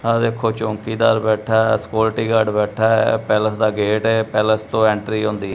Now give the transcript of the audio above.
ਆ ਵੇਖੋ ਚੌਂਕੀਦਾਰ ਬੈਠਾ ਐ ਇਹ ਸਕਿਉਰਟੀਗਾਡਰ ਬੈਠਾ ਐ ਇਹ ਪੈਲਸ ਦਾ ਗੇਟ ਏ ਇਹ ਪੈਲਸ ਤੋਂ ਐਂਟਰੀ ਹੁੰਦੀ--